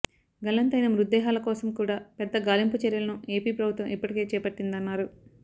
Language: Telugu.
గల్లంతు అయిన మృతదేహాల కోసం కూడా పెద్దగాలింపు చర్యలను ఎపి ప్రభుత్వం ఇప్పటికే చేపట్టిందన్నారు